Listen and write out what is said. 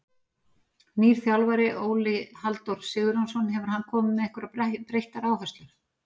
Nýr þjálfari, Óli Halldór Sigurjónsson, hefur hann komið með einhverjar breyttar áherslur?